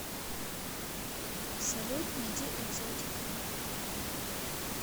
салют найди экзотика